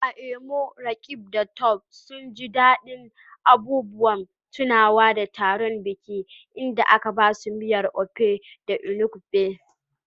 A Imo, Roqeeb da Tope sun ji daɗin abubuwan tunawa da taron biki inda aka basu miyar Ofe Enugbe.